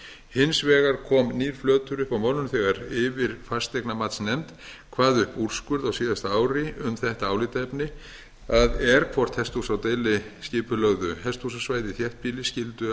hins vegar kom nýr flötur upp á málinu þegar yfirfasteignamatsnefnd kvað upp úrskurð á síðasta ári um þetta álitaefni það er hvort hesthús á deiliskipulögðu hesthúsasvæði í þéttbýli skyldu